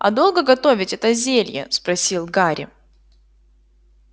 а долго готовить это зелье спросил гарри